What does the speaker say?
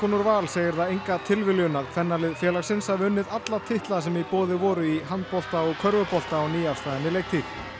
úr Val segir það enga tilviljun að kvennalið félagsins hafi unnið alla titla sem í boði voru í handbolta og körfubolta á nýafstaðinni leiktíð